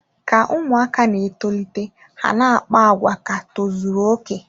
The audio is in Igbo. Ka ụmụaka na-etolite, ha na-akpa àgwà ka tozuru okè.